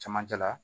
Cɛmancɛ la